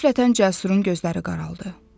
Qəflətən Cəsurun gözləri qaraldı.